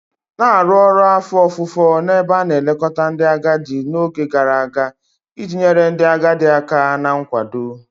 Na-arụ ọrụ afọ ofufo n'ebe a na-elekọta ndị agadi n'oge gara aga iji nyere ndị agadi aka na nkwado